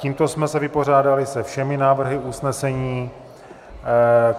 Tímto jsme se vypořádali se všemi návrhy usnesení.